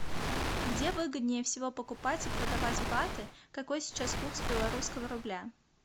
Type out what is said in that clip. где выгоднее всего покупать и продавать баты какой сейчас курс белорусского рубля